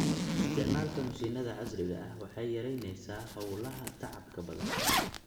Isticmaalka mishiinada casriga ah waxay yaraynaysaa hawlaha tacabka badan.